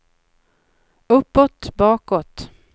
uppåt bakåt